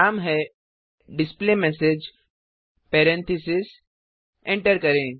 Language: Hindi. नाम है डिस्प्लेमेसेज पेरेंथीसेस एंटर करें